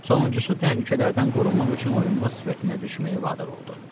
Sonuncusu təhlükələrdən qorunmaq üçün oyunbaz sifətinə düşməyə vadar oldu.